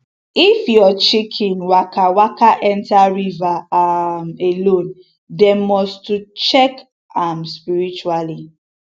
if your chicken waka waka enter river um alone dem must to check um am spiritually